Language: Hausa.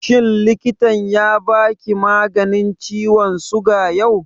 Shin likitan ya ba ki maganin ciwon suga yau?